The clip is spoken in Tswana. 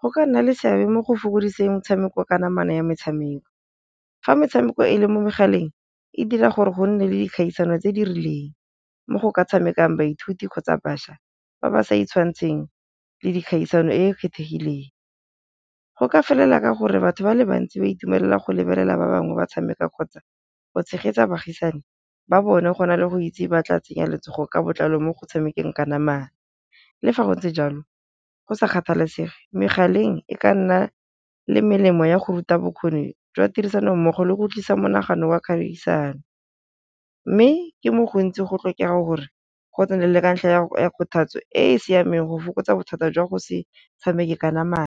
go ka nna le seabe mo go fokodiseng metshameko ka namana ya metshameko. Fa metshameko e le mo megaleng e dira gore go nne le dikgaisano tse di rileng mo go ka tshamekang baithuti kgotsa bašwa ba ba sa itshwantsheng le dikgaisano e e kgethegileng, go ka felella ka gore batho ba le bantsi ba itumelela go lebelela ba bangwe ba tshameka kgotsa go tshegetsa baagisane ba bone go na le go itse ba tla tsenya letsogo ka botlalo mo go tshamekang kanamana. Le fa go ntse jalo go sa kgathalesege megaleng e ka nna le melemo ya go ruta bokgoni jwa tirisano mmogo le go tlisa monagano wa kgaisano, mme ke mo gontsi go tlhokega gore go nne le ka ntlha ya go ya kgothatso e e siameng go fokotsa bothata jwa go se tshameke ka namana.